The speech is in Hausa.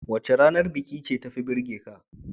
Wace ranar biki ce tafi burgeka?